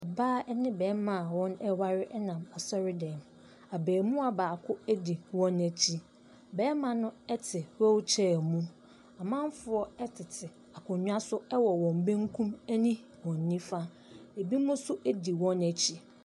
Ɔbaa ne ɔbarima a wɔreware nam asɔredan mu. Abaamua baako di wɔn akyi. Barima no te wheelchair mu. Amanfoɔ tete akonnwa so wɔ wɔn benkum ne wɔn nifa. Ebinom nso di wɔn akyi.